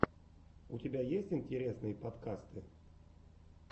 у тебя есть интересные подкасты